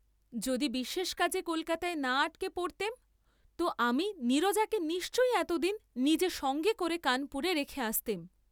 যদি বিশেষ কাজে কলকাতায় না আটকা পড়তেম তো আমি নীরজাকে নিশ্চয়ই এতদিন নিজে সঙ্গে করে কানপুরে রেখে আসতেম।